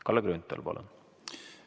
Kalle Grünthal, palun!